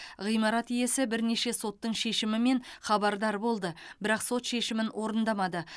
ғимарат иесі бірнеше соттың шешімімен хабардар болды бірақ сот шешімін орындамады